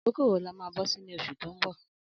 Akókó wó là mà bọsi ni óṣú tó n bọ?